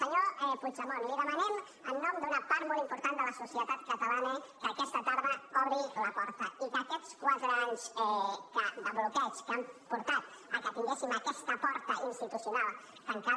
senyor puigdemont li demanem en nom d’una part molt important de la societat catalana que aquesta tarda obri la porta i que aquests quatre anys de bloqueig que han portat al fet que tinguéssim aquesta porta institucional tancada